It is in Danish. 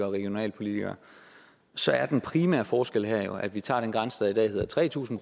og regionalpolitikere så er den primære forskel her jo at vi tager den grænse der i dag hedder tre tusind